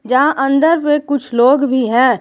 जहां अंदर में कुछ लोग भी हैं।